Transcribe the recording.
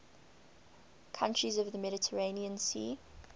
countries of the mediterranean sea